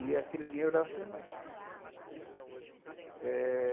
E aquele dinheiro eu dava para a minha mãe, né. Eh...